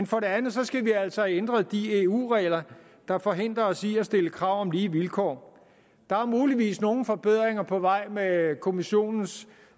for det andet skal vi altså have ændret de eu regler der forhindrer os i at stille krav om lige vilkår der er muligvis nogle forbedringer på vej med kommissionens